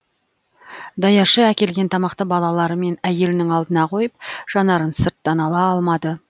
даяшы әкелген тамақты балалары мен әйелінің алдына қойып жанарын сырттан ала алмады